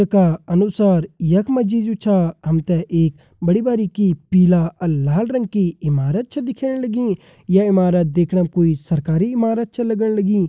का अनुसार यखमा जी जो छा हमते एक बड़ी बारीकी पीला और लाल रंग की इमारत छा दिख्येण लगीं ये ईमारत दिखणम कोई सरकारी ईमारत छा लगण लगीं।